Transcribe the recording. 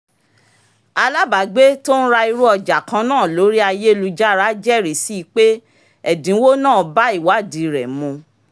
alábàágbé tó ń ra irú ọjà kan náà lórí ayélujára jẹ́rìí si pé ẹ̀dínwó náà bá ìwádìí rẹ̀ mu